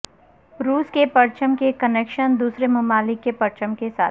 روس کے پرچم کے کنکشن دوسرے ممالک کے پرچم کے ساتھ